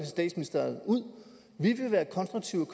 statsministeriet ud vi vil være konstruktive